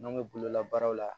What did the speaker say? N'an bɛ bololabaaraw la